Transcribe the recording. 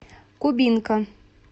кубинка